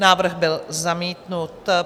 Návrh byl zamítnut.